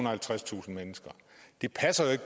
og halvtredstusind mennesker